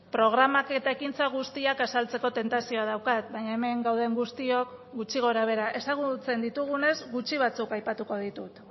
programak eta ekintza guztiak azaltzeko tentazioa daukat baina hemen gauden guztiok gutxi gora behera ezagutzen ditugunez gutxi batzuk aipatuko ditut